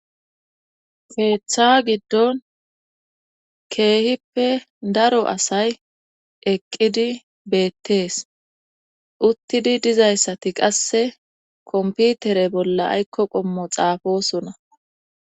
Keeththa giddon keehippe daro asay eqqidi beettees uttidi dizayssati qasse komputere bolla aykko qommo xaafosona.